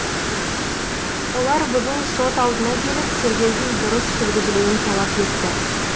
олар бүгін сот алдына келіп тергеудің дұрыс жүргізілуін талап етті